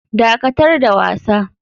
Dakatar da wasa.